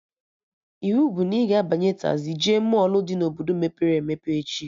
Iwu bụ na ị ga-abanye tazii jee mọlụ dị na Obodo mepere emepe echi!